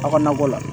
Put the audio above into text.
Aw ka nakɔ la